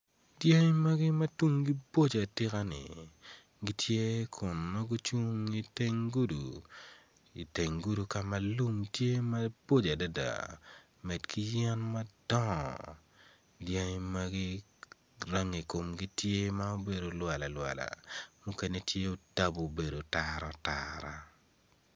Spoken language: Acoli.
Dyangi magi ma tungi boco atika ni gitye ma gucung i teng gudo i teng dugu lum tye ma pol adada med ki yen madongo dyangi magi rangi komgi tye ma obedo kwalalwala mukene tye otabu obedo taratara.